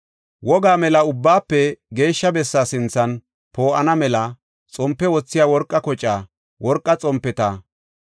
wogaa mela Ubbaafe Geeshsha Bessaa sinthan poo7ana mela xompe wothiya worqa kocaa, worqa xompeta,